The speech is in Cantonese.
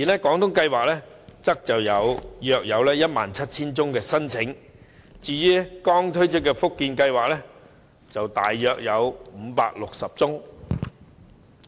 廣東計劃錄得約 17,000 宗申請，而至於剛推出的福建計劃則約有560宗。